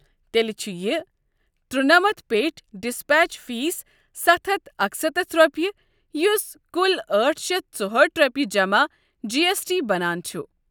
تیٚلہِ چھُ یہِ ترُونَمتَھ پیٚٹھۍ ڈسپیچ فیسٕ ستھ ہتھ اکسَتتھ رۄپیہ یس کل أٹھ شیتھ ژۄہأٹھ رۄپیہِ جمع جی ایس ٹی بنان چھُ۔